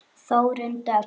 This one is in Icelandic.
Þórunn Dögg.